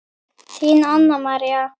Þín Anna María.